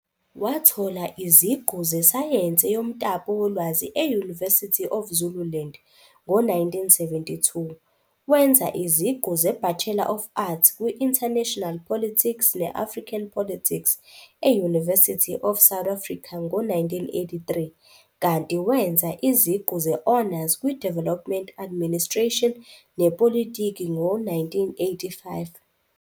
Wathola iziqu zesayensi yomtapo wolwazi e- University of Zululand ngo-1972, wenza iziqu zeBachelor of Arts kwi-International Politics ne-African Politics e-University of South Africa ngo-1983, kanti wenza iziqu ze-honors kwi-Development Administration nePolitiki ngo-1985.